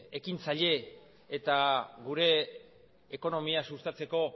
ekintzaile eta gure ekonomia sustatzeko